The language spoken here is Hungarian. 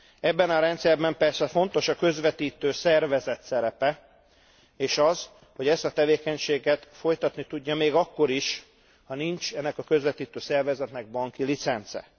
Ebben a rendszerben persze fontos a közvetítő szervezet szerepe és az, hogy ezt a tevékenységet folytatni tudja még akkor is, ha nincs ennek a közvetítő szervezetnek banki licence.